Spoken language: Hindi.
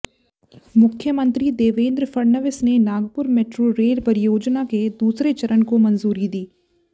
मुख्यमंत्री देवेंद्र फडणवीस ने नागपुर मेट्रो रेल परियोजना के दूसरे चरण को मंजूरी दी है